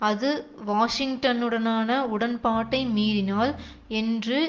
அது வாஷிங்டனுடனான உடன்பாட்டை மீறினால் என்று